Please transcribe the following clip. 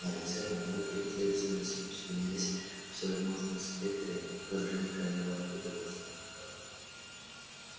на лице мамульки последовательно сменялись всевозможные спектры выражения крайнего удовольствия